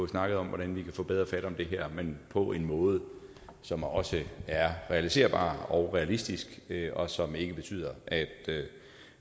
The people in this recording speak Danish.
snakke om hvordan vi kan få bedre fat om det her men på en måde som også er realiserbar og realistisk og som ikke betyder